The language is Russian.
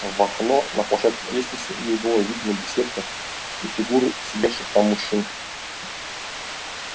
в окно на площадке лестницы ей была видна беседка и фигуры сидевших там мужчин